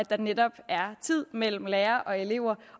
der netop er tid mellem lærere og elever